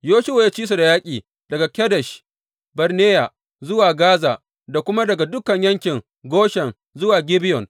Yoshuwa ya ci su da yaƙi daga Kadesh Barneya zuwa Gaza, da kuma daga dukan yankin Goshen zuwa Gibeyon.